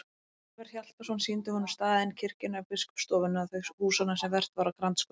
Ólafur Hjaltason sýndi honum staðinn, kirkjuna, biskupsstofuna, þau húsanna sem vert var að grandskoða.